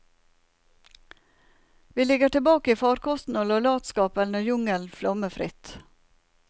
Vi ligger tilbake i farkosten og lar latskapen og jungelen flomme fritt.